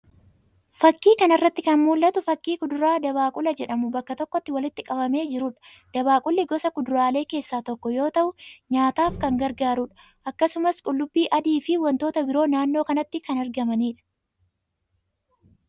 fakii kana irratti kan mul'atu fakii kudura dabaaqula jedhamu bakka tokkotti walitti qabamee jirudha. Dabaaqulli gosa kuduralee keessaa tokko yoo ta'u nyaataf kan gargaarudha. Akkasumas qullubbii adii fi wantoonni biroo naannoo kanatti kan argamanidha.